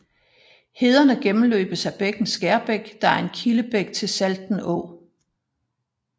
Hederne gennemløbes af bækken Skærbæk der er en kildebæk til Salten Å